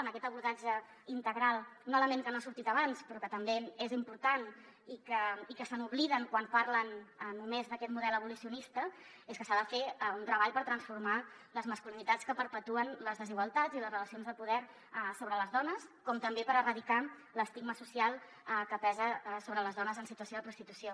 en aquest abordatge integral un element que no ha sortit abans però que també és important i que se n’obliden quan parlen només d’aquest model abolicionista és que s’ha de fer un treball per transformar les masculinitats que perpetuen les desigualtats i les relacions de poder sobre les dones com també per erradicar l’estigma social que pesa sobre les dones en situació de prostitució